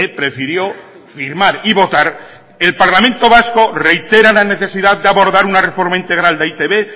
prefirió firmar y votar el parlamento vasco reitera la necesidad de abordar una reforma integral de e i te be